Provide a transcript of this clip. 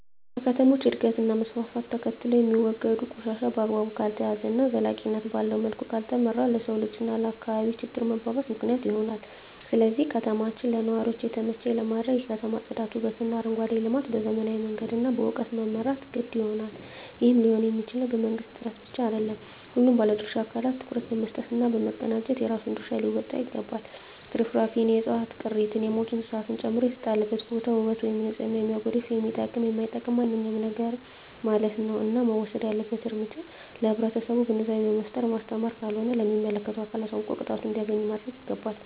ከከተሞች እድገት እና መስፍፍት ተከትሎየሚወገዱ ቆሻሻ በአግባቡ ካልተያዘ እና ዘላቂነት ባለዉ መልኩ ካልተመራ ለሰዉ ልጅ እና ለአካባቢ ችግር መባባስ ምክንያት ይሆናል ስለዚህ ከተማችን ለነዋሪዎች የተመቸ ለማድረግ የከተማ ፅዳት ዉበትእና አረንጓዴ ልማት በዘመናዊ መንገድ እና በእዉቀት መምራት የግድ ይሆናል ይህም ሊሆንየሚችለዉ በመንግስት ጥረት ብቻ አይደለም ሁሉም ባለድርሻ አካላት ትኩረት በመስጠት እና በመቀናጀት የራሱን ድርሻ ሊወጣ ይገባል ትርፍራፊንእና የዕፅዋት ቅሪትን የሞቱ እንስሳትን ጨምሮ የተጣለበትን ቦታ ዉበት ወይም ንፅህናን የሚያጎድፍ የሚጠቅምም የማይጠቅምም ማንኛዉም ነገርማለት ነዉ እና መወሰድ ያለበት እርምጃ ለህብረተሰቡ ግንዛቤ በመፍጠር ማስተማር ካልሆነ ደግሞ ለሚመለከተዉ አካል አሳዉቆ ቅጣቱን እንዲያገኝ ማድረግይገባል